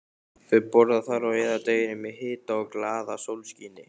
Þau borða þar og eyða deginum í hita og glaðasólskini.